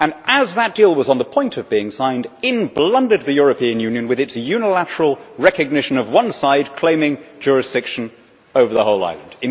As that deal was on the point of being signed, in blundered the European Union with its unilateral recognition of one side claiming jurisdiction over the whole island.